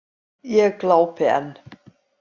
Ég glápi enn.